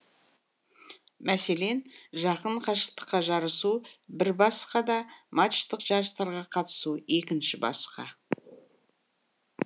мәселен жақын қашықтыққа жарысу бір басқа да матчтық жарыстарға қатысу екінші басқа